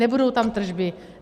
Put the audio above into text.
Nebudou tam tržby?